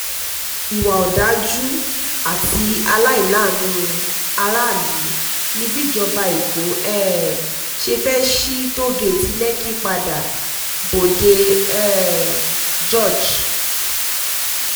ìwà ọ̀dájú àti àìláàánú aráàlú ni bíjọba eko um ṣe fẹ́ẹ́ sí tòò-gẹ̀ẹ́tì lèkì padà-bòde um george